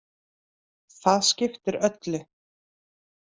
Það skiptir öllu.